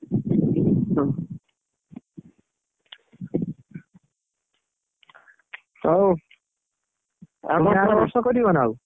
ହଉ କରିବ ନା ଆଉ?